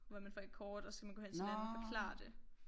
Hvor man får et kort og så skal man gå hen til den anden og forklare det